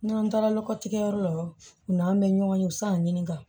N'an taara nɔgɔtigɛ yɔrɔ la u n'an bɛ ɲɔgɔn ye u bɛ se ka ɲininka